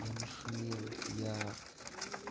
я на шумел я